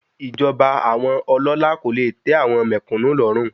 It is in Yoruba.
Ìjọba àwọn ọlọ́lá kò le tẹ́ àwọn mèkúnù lọ́rùn.